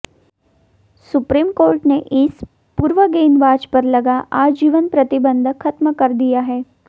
supreme court ने इस पूर्व गेंदबाज पर लगा आजीवन प्रतिबंध खत्म कर दिया है